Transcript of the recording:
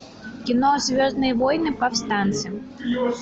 кино звездные войны повстанцы